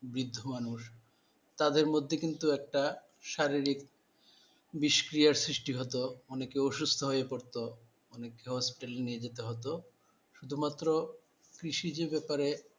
ব্রিদ্ধ মানুষ তাদের মধ্যে কিন্তু একটা শারীরিক নিষ্ক্রিয়ার সৃষ্টি হতো অনেকে অসুস্থ হয়ে পড়তো অনেককে hospital নিয়ে যেতে হতো শুধু মাত্র কৃষিজ ব্যাপারে,